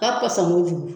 Ka pansɔn kojugu